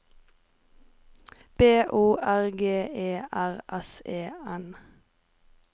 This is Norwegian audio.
B O R G E R S E N